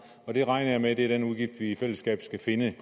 og jeg regner med at det er den udgift vi i fællesskab skal finde